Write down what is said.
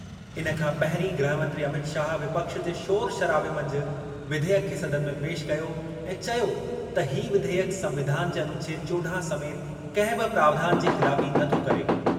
इन खां पहिरीं गृहमंत्री अमित शाह विपक्ष जे शोर शराबे मंझि विधेयक खे सदन में पेश कयो ऐं चयो त ही विधेयक संविधान जे अनुच्छेद चोॾाहं समेति कंहिं बि प्रावधान जी ख़िलाफ़ी नथो करे।